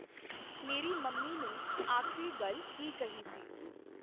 ਮੇਰੀ ਮੰਮੀ ਨੇ ਆਖਰੀ ਗੱਲ ਕੀ ਕਹੀ ਸੀ